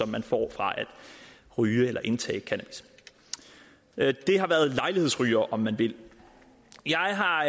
man får fra at ryge eller indtage cannabis det har været lejlighedsrygere om man vil jeg har